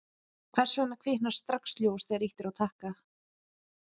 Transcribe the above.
hvers vegna kviknar strax ljós þegar ýtt er á takka